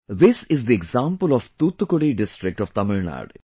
This is the example of Thoothukudi district of Tamil Nadu